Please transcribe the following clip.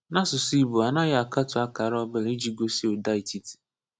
N’ásụsụ́ Ìgbò, a naghị akatụ akara ọ bụla iji gosí ụ́da etiti.